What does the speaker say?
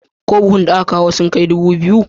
Ko buhunan da ka kawo sun kai dubu 2251?